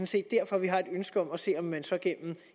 set derfor at vi har et ønske om at se om man så gennem